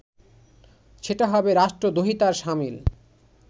সেটা হবে রাষ্ট্রদ্রোহিতার শামিল